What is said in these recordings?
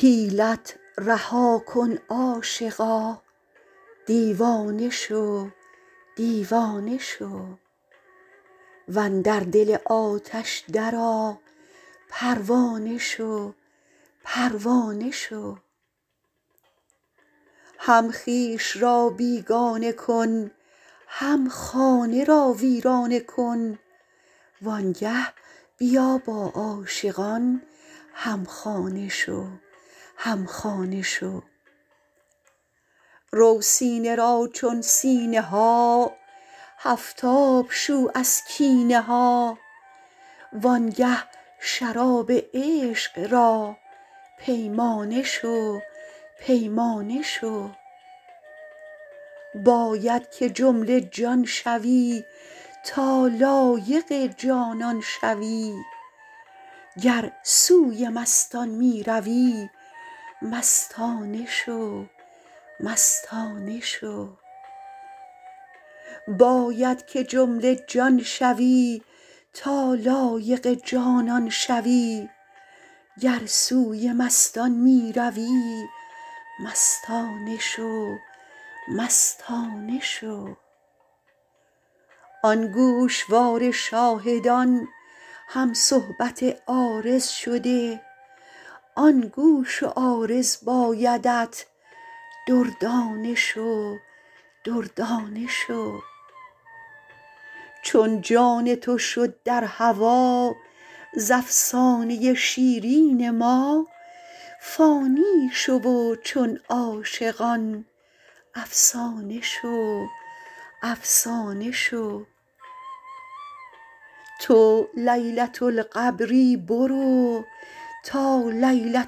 حیلت رها کن عاشقا دیوانه شو دیوانه شو و اندر دل آتش درآ پروانه شو پروانه شو هم خویش را بیگانه کن هم خانه را ویرانه کن وآنگه بیا با عاشقان هم خانه شو هم خانه شو رو سینه را چون سینه ها هفت آب شو از کینه ها وآنگه شراب عشق را پیمانه شو پیمانه شو باید که جمله جان شوی تا لایق جانان شوی گر سوی مستان می روی مستانه شو مستانه شو آن گوشوار شاهدان هم صحبت عارض شده آن گوش و عارض بایدت دردانه شو دردانه شو چون جان تو شد در هوا ز افسانه ی شیرین ما فانی شو و چون عاشقان افسانه شو افسانه شو تو لیلة القبری برو تا لیلة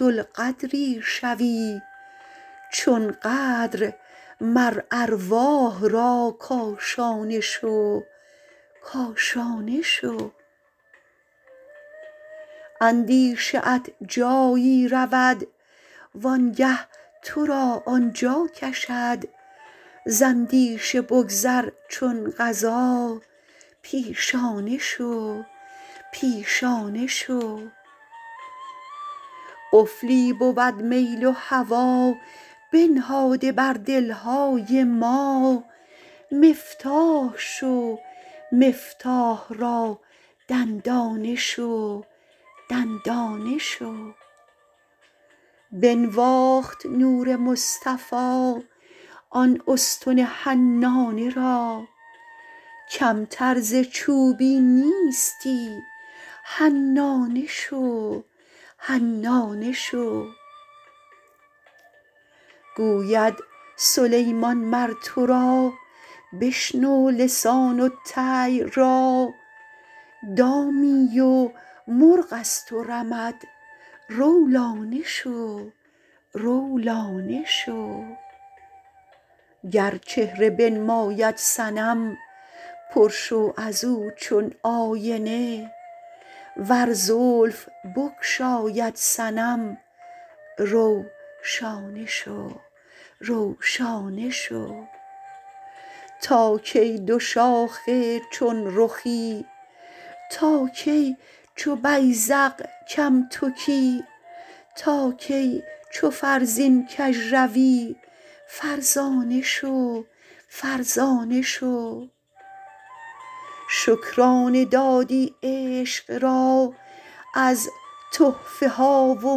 القدری شوی چون قدر مر ارواح را کاشانه شو کاشانه شو اندیشه ات جایی رود وآنگه تو را آن جا کشد ز اندیشه بگذر چون قضا پیشانه شو پیشانه شو قفلی بود میل و هوا بنهاده بر دل های ما مفتاح شو مفتاح را دندانه شو دندانه شو بنواخت نور مصطفی آن استن حنانه را کمتر ز چوبی نیستی حنانه شو حنانه شو گوید سلیمان مر تو را بشنو لسان الطیر را دامی و مرغ از تو رمد رو لانه شو رو لانه شو گر چهره بنماید صنم پر شو از او چون آینه ور زلف بگشاید صنم رو شانه شو رو شانه شو تا کی دوشاخه چون رخی تا کی چو بیذق کم تکی تا کی چو فرزین کژ روی فرزانه شو فرزانه شو شکرانه دادی عشق را از تحفه ها و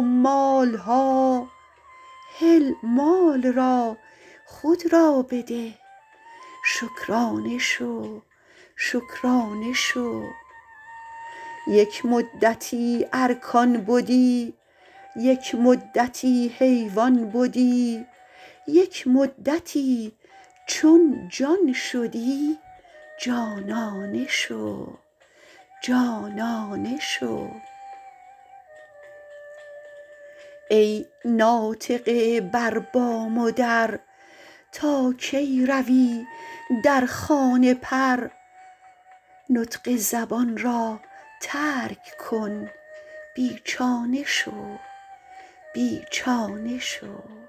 مال ها هل مال را خود را بده شکرانه شو شکرانه شو یک مدتی ارکان بدی یک مدتی حیوان بدی یک مدتی چون جان شدی جانانه شو جانانه شو ای ناطقه بر بام و در تا کی روی در خانه پر نطق زبان را ترک کن بی چانه شو بی چانه شو